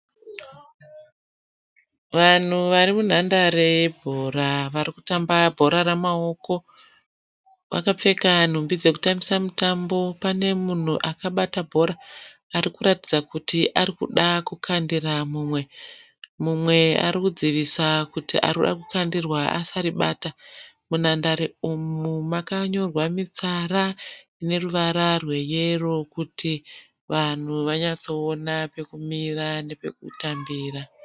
Vanhu vari munhandare yebhora vari kutamba bhora ramaoko. Vakapfeka nhumbi dzokutambisa mutambo. Pane munhu akabata bhora arikutaridza kuti ari kuda kukandira mumwe. Mumwe ari ari kudzivirira kuti ari kuda kukandira asaribata. Munhandare umu makanyorwa nemitsara ineruvara rweyero kuti vanhu vanyatsoona pokumira pokutambira.